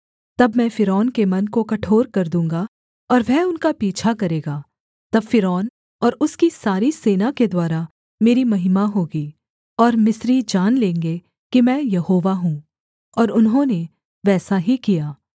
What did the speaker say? तब मैं फ़िरौन के मन को कठोर कर दूँगा और वह उनका पीछा करेगा तब फ़िरौन और उसकी सारी सेना के द्वारा मेरी महिमा होगी और मिस्री जान लेंगे कि मैं यहोवा हूँ और उन्होंने वैसा ही किया